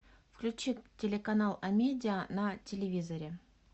включи телеканал амедиа на телевизоре